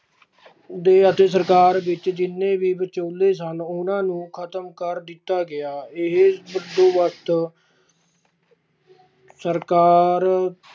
ਦੇੇ ਅਤੇ ਸਰਕਾਰ ਵਿੱਚ ਜਿੰਨੇ ਵੀ ਵਿਚੋਲੇ ਸਨ ਉਹਨਾਂ ਨੂੰ ਖਤਮ ਕਰ ਦਿੱਤਾ ਗਿਆ ਇਹ ਬੰਦੋਬਸਤ ਸਰਕਾਰ